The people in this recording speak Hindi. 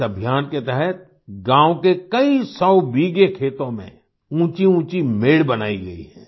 इस अभियान के तहत गाँव के कई सौ बीघे खेतों में ऊँचीऊँची मेड़ बनाई गई है